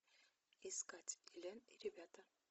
искать элен и ребята